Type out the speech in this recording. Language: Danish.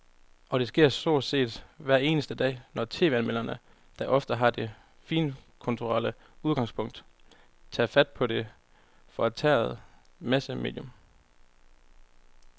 Og det sker stort set hver eneste dag, når tv-anmelderne, der ofte har det finkulturelle udgangspunkt, tager fat på det forkætrede massemedium.